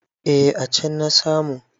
Eh a can na samu.